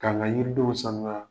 K' an ka yiridenw sanuya